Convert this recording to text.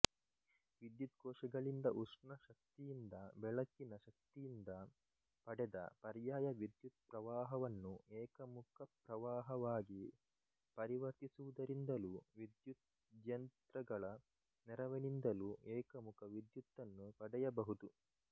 ವಿದ್ಯುತ್ಕೋಶಗಳಿಂದ ಉಷ್ಣಶಕ್ತಿಯಿಂದ ಬೆಳಕಿನ ಶಕ್ತಿಯಿಂದ ಪಡೆದ ಪರ್ಯಾಯ ವಿದ್ಯುತ್ಪ್ರವಾಹವನ್ನು ಏಕಮುಖಪ್ರವಾಹವಾಗಿ ಪರಿವರ್ತಿಸುವುದರಿಂದಲೂ ವಿದ್ಯುದ್ಯಂತ್ರಗಳ ನೆರವಿನಿಂದಲೂ ಏಕಮುಖ ವಿದ್ಯುತ್ತನ್ನು ಪಡೆಯಬಹುದು